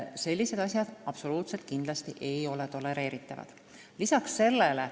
Sellised asjad ei ole kindlasti tolereeritavad.